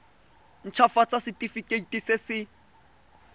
nt hafatsa setefikeiti se se